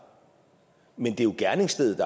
men det er jo gerningsstedet